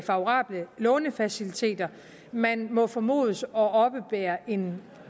favorable lånefaciliteter man må formodes at oppebære en